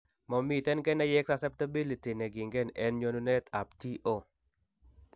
Momiiten keneyeek suceptibility ne kiinken en nyonunetab TO